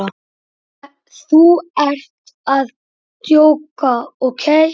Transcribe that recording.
Þú ert að djóka, ókei?